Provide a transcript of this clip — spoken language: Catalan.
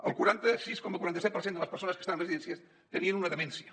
el quaranta sis coma quaranta set per cent de les persones que estan en residències tenien una demència